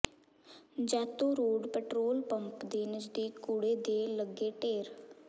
Jaito road petrol pump ਦੇ ਨਜ਼ਦੀਕ ਕੂੜੇ ਦੇ ਲੱਗੇ ਢੇਰ